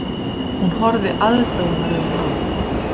Hún horfði aðdáunaraugum á